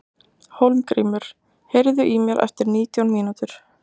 Hólmgrímur, heyrðu í mér eftir nítján mínútur.